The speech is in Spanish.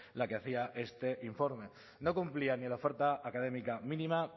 la que hacía este informe no cumplía ni en la oferta académica mínima